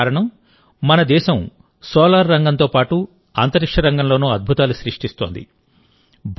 అందుకు కారణం మన దేశం సోలార్ రంగంతో పాటు అంతరిక్ష రంగంలోనూ అద్భుతాలు సృష్టిస్తోంది